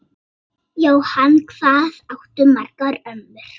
Jóhann: Hvað áttu margar ömmur?